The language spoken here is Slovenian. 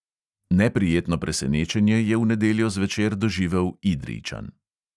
Neprijetno presenečenje je v nedeljo zvečer doživel idrijčan.